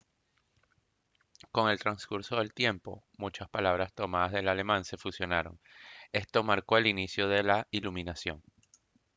con el transcurso del tiempo muchas palabras tomadas del alemán se fusionaron esto marcó el inicio de la iluminación